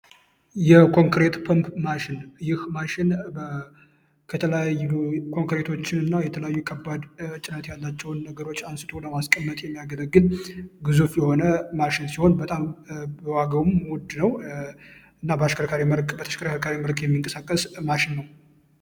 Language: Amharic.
የኮንክሪት ማሽን ከተለያዩ የተለያዩ ከባድ ያላቸውን ነገሮች አንስቶ ለማስቀመጥ የሚያገለግል ግዙፍ የሆነ ማሽን ሲሆን አሽከርካሪ ምርት ቤተክርስትያን እንቀሳቀስ ማሽን ነው